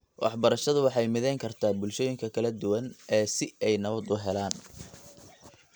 Waxbarashadu waxay midayn kartaa bulshooyinka kala duwan ee si ay nabad u helaan.